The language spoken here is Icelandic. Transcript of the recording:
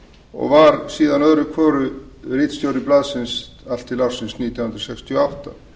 og var síðan öðru hverju ritstjóri blaðsins til nítján hundruð sextíu og átta